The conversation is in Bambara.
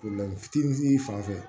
fitinin fan fɛ